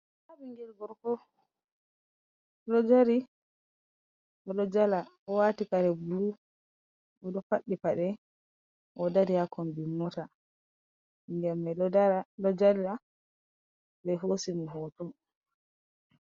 Nda ɓingel gorko, oɗo dari, oɗo jala. owati kare bulu, oɗo faɗɗi paɗe, oɗo dari hakonbi mota, ɓingel mai ɗo jala ɓe hosimo hoto.